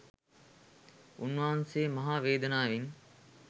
උන්වහන්සේ මහා වේදනාවෙන්